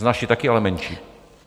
Z naší taky, ale menší.